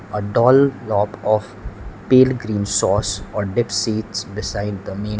a of pale green sauce or dip sits beside the meal.